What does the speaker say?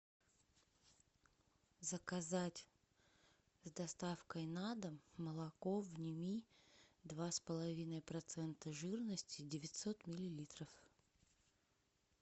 заказать с доставкой на дом молоко вними два с половиной процента жирности девятьсот миллилитров